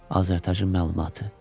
Azərtacın məlumatı.